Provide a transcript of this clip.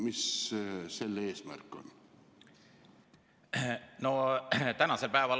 Mis selle eesmärk on?